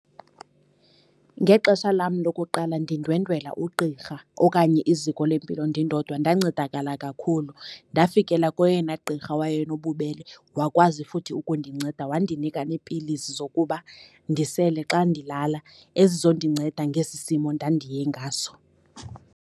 Ngexesha lam lokuqala ndindwendwela ugqirha okanye iziko lempilo ndindodwa ndancedakala kakhulu. Ndafikela koyena gqirha wayenobubele, wakwazi futhi ukundinceda wandinika neepilisi zokuba ndisele xa ndilala ezizondinceda ngesi simo ndandiye ngaso.